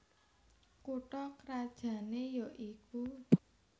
Kutha krajané ya iku